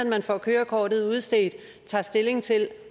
man får kørekortet udstedt tager stilling til